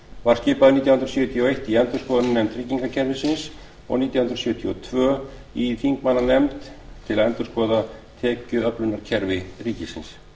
var skipaður nítján hundruð sjötíu og eitt í endurskoðunarnefnd tryggingakerfisins og nítján hundruð sjötíu og tvö í þingmannanefnd til að endurskoða tekjuöflunarkerfi ríkissjóðs